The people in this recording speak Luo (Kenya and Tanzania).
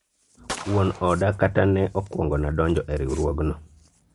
wuon oda kata ne okwongona donjo e riwruogno